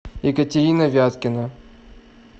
екатерина вяткина